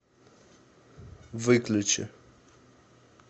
выключи